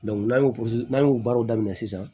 n'an y'o n'an y'o baaraw daminɛ sisan